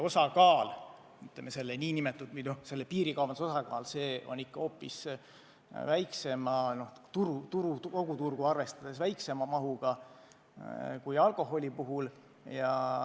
Kütuse puhul on piirikaubanduse osakaal kogu turgu arvestades ikkagi väiksem kui alkoholi puhul.